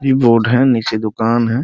इ बोर्ड है नीचे दुकान है ।